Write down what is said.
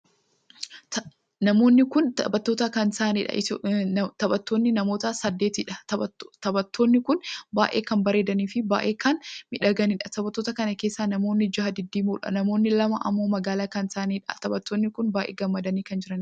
Namoonni kun taphattoota kan taa'aniidha. taphattoonni namoota saddeetiidha. taphattootni kun baay'ee kan babbareedanii Fi baay'ee kan miidhaganiidh. taphattoota kan keessaa namoonni jaha diddiimoodha. namni lama ammoo magaala kan taa'aniidha. taphattoonni kun baay'ee gammadaa kan jiraniidha.